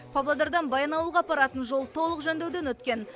павлодардан баянауылға апаратын жол толық жөндеуден өткен